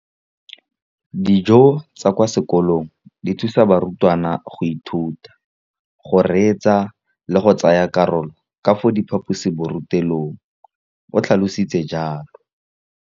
Dijo tsa kwa sekolong dithusa barutwana go ithuta, go reetsa le go tsaya karolo ka fa phaposiborutelong, o tlhalositse jalo.